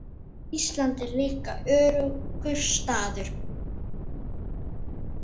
Ísland er líka öruggur staður.